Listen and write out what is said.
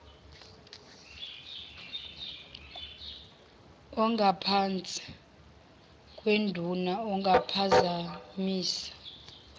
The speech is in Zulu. ongaphansi kwenduna ongaphazamisa